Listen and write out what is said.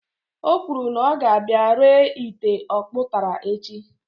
Ọ kwuru na ọ ga-abia ree ite ọkpụtara echi